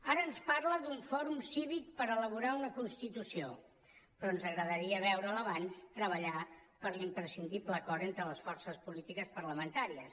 ara ens parla d’un fòrum cívic per elaborar una constitució però ens agradaria veure’l abans treballar per l’imprescindible acord entre les forces polítiques parlamentàries